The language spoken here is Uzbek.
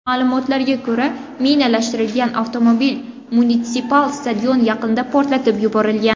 Ma’lumotlarga ko‘ra, minalashtirilgan avtomobil munitsipal stadion yaqinida portlatib yuborilgan.